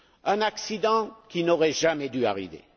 Un accident qui n'aurait jamais dû arriver.